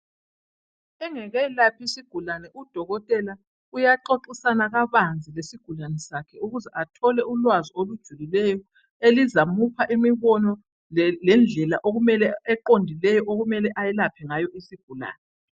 Engakelaphi isigulane udokotela uyaxoxisana kabanzi lesigulane sakhe ukuze athole ulwazi olujulileyo elizamupha imibono lendlela eqondileyo okumele elaphe ngayo isigulane .